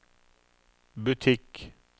butikk